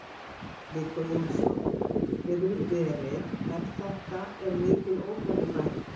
Viggó Jónsson: Hefur verið, er þetta, er mikil ófærð í bænum?